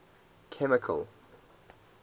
chemical